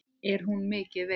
Er hún mikið veik?